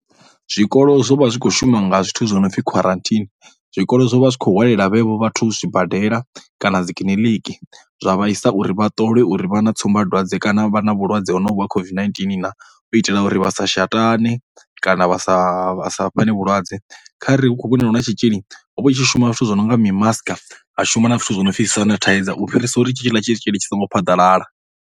Zwikolo zwo vha zwi kho shuma nga zwithu zwo no pfhi quarantine, zwikolo zwo vha zwi khou hwalela vhenevho vhathu zwibadela kana dzi kiḽiniki dza vha isa uri vha ṱolwe uri vha na tsumbadwadze kana vha na vhulwadze honovhu ha COVID-19 na. U itela uri vha sa shatane kana vha sa, vha sa fhane vhulwadze kha re hu khou vhonala hu na tshitzhili ho vha hu tshi shuma zwithu zwo no nga mimasaka, ha shuma na zwithu zwo no pfhi dzi sanitizer u fhirisa uri hetshiḽa tshitzhili tshi songo phaḓalala.